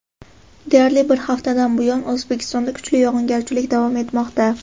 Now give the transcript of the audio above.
Deyarli bir haftadan buyon O‘zbekistonda kuchli yog‘ingarchilik davom etmoqda.